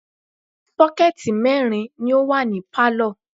Sọ́kẹ̀tì mẹ́rin ni ó wà ní pálọ̀